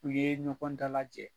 U ye ɲɔgɔn dala lajɛn